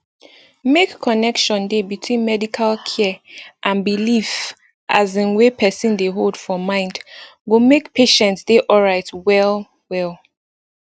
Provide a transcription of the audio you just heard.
make connection dey between medical care and belief asin wey person dey hold for mind go make patient dey alright well well